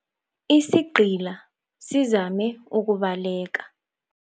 Isigqila sizame ukubaleka.